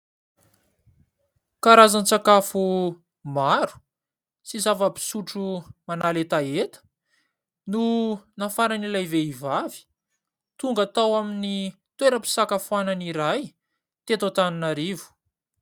Karazan-tsakafo maro sy zava-pisotro manala hetaheta no nafaran'ilay vehivavy tonga tao amin'ny toeram-pisakafoana iray teto Antaninarivo.